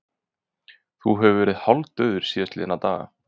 Þú hefur verið hálfdaufur síðastliðna daga